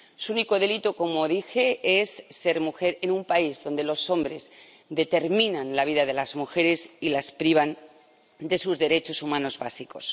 Su único delito —como dije— es ser mujer en un país donde los hombres determinan la vida de las mujeres y las privan de sus derechos humanos básicos.